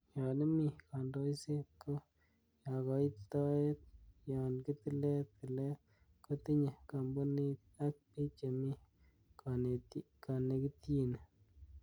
Yon imi kondokset, ko kagoitoet yon kitilet tilet ko tinye komponit ak bik chemi konekityini.